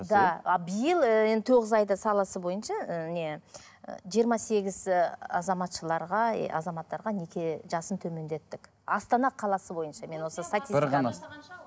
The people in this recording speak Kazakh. да биыл ыыы енді тоғыз айда саласы бойнша ы не жиырма сегіз ы азаматшаларға ы азаматтарға неке жасын төмендеттік астана қаласы бойынша мен осы бір ғана